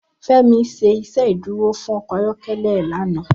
Femi ṣé Ìṣédùró fún ọkọ ayọkẹlẹ è lànã